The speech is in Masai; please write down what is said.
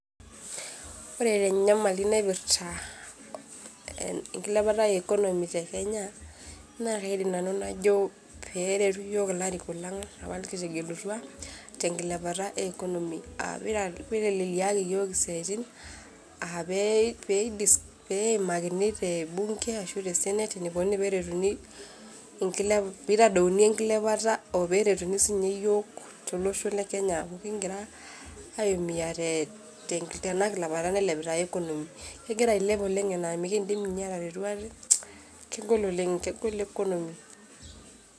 Ore tenyamali naipirta enkilepata economy tekenya naa kaidim nanu najo peretu iyiok ilarikok lang apa nikitegelutua tenkilepata economy aa peiteleleliaki iyiook isiatin aa pee disc, pee eimakini tebunge ashu tesanate enikoni peretuni inkelp, pitadouni enkilepata operetuni sininye yiok otolosho lekenya amu kingira aimua te tenakilepata nailepita economy, kegira ailep oleng' enaa mikindim ninye ataretu ate, kegol oleng' kegol economy.